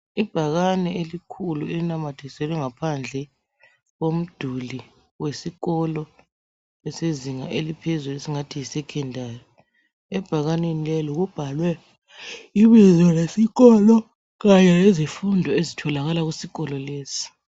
Ibhakane elikhulu elinamathiselwe ngaphandle komduli wesikolo esezinga eliphezulu (esingathi yisekhendari). Ebhakanini leli kubhalwe ibizo lesikolo kanye lezifundo ezitholakala kusikolo lesi.